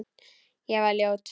Ég var ljót.